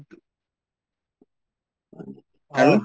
আৰু